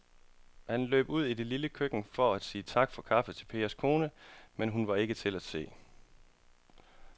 Han løb ud i det lille køkken for at sige tak for kaffe til Pers kone, men hun var ikke til at se.